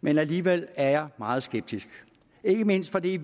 men alligevel er jeg meget skeptisk ikke mindst fordi det